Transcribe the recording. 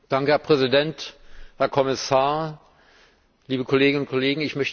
Herr Präsident, Herr Kommissar, liebe Kolleginnen und Kollegen!